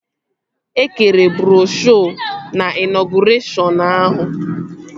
E kere broshuo na ịnọgụreshọn ahụ